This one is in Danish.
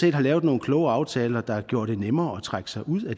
have lavet nogle kloge aftaler der gjorde det nemmere at trække sig ud af